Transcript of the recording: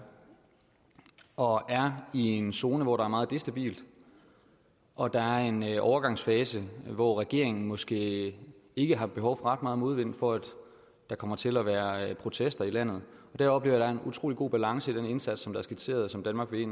og er i en zone hvor der er meget ustabilt og der er en overgangsfase hvor regeringen måske ikke har behov for ret meget modvind for at der kommer til at være protester i landet jeg oplever der er en utrolig god balance i den indsats der er skitseret som danmark vil